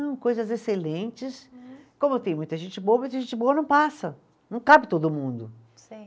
Não, coisas excelentes, como tem muita gente boa, mas gente boa não passa, não cabe todo mundo. Sim.